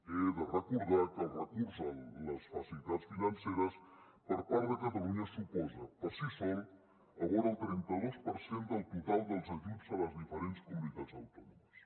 he de recordar que el recurs a les facilitats financeres per part de catalunya suposa per si sol vora el trenta dos per cent del total dels ajuts a les diferents comunicats autònomes